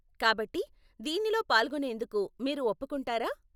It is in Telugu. కాబట్టి, దీనిలో పాల్గొనేందుకు మీరు ఒప్పుకుంటారా?